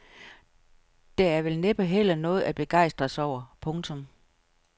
Der er vel næppe heller noget at begejstres over. punktum